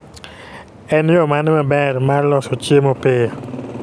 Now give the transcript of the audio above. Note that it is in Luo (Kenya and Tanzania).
En yoo mane maber mar loso chiemo piyo?